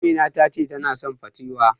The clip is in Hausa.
Amina ta ce tana son patewo.